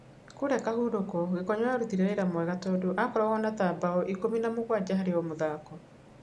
Kũũrĩa Kahurũko, Gĩkonyo arutire wĩra mwega tondũ akoragwo na ta mbaũ ikũmĩ na mũgwanja harĩ o mũthako.